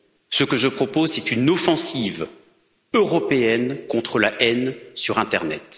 Ce que je propose, c'est une offensive européenne contre la haine sur internet.